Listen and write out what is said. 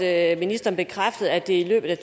at ministeren bekræftede at det er i løbet af